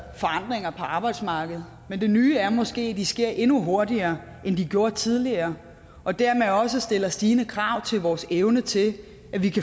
forandringer på arbejdsmarkedet men det nye er måske at de sker endnu hurtigere end de gjorde tidligere og dermed også stiller stigende krav til vores evne til at